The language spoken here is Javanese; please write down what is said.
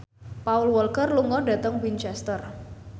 Paul Walker lunga dhateng Winchester